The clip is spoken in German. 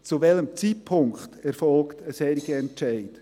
Zu welchem Zeitpunkt erfolgt ein solcher Entscheid?